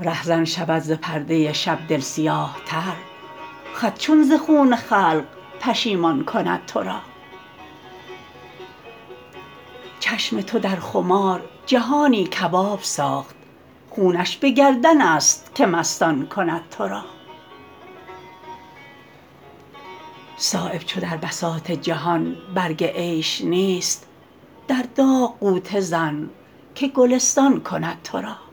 رهزن شود ز پرده شب دل سیاه تر خط چون ز خون خلق پشیمان کند ترا چشم تو در خمار جهانی کباب ساخت خونش به گردن است که مستان کند ترا صایب چو در بساط جهان برگ عیش نیست در داغ غوطه زن که گلستان کند ترا